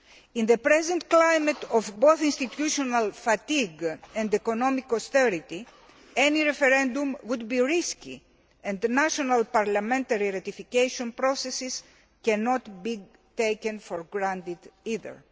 In the present climate of both institutional fatigue and economic austerity, any referendum would be risky, and the national parliamentary ratification processes cannot be taken for granted either.